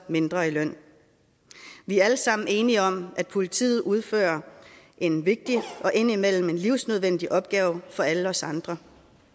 mindre i løn vi er alle sammen enige om at politiet udfører en vigtig og indimellem livsnødvendig opgave for alle os andre